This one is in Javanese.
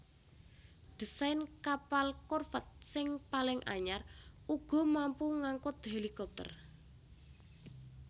Desain kapal korvèt sing paling anyar uga mampu ngangkut helikopter